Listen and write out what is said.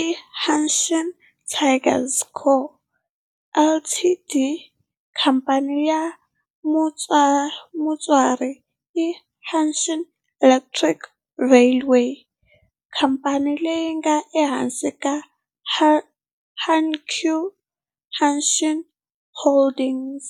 i Hanshin Tigers Co., Ltd. Khamphani ya mutswari i Hanshin Electric Railway, khamphani leyi nga ehansi ka Hankyu Hanshin Holdings.